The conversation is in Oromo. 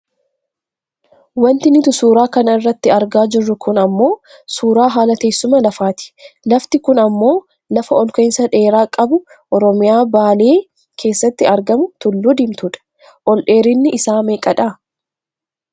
Wanti nuti suura kana irratti argaa jirru kun ammoo suuraa haala teessuma lafaati. Lafti kun ammoo lafa olka'insa dheeraa qabu oromoyaa baale keessatti argamu Tulluu Diimtuudha. Ol dheerinni isaa meeqadha?